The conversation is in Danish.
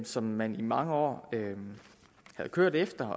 som man i mange år havde kørt efter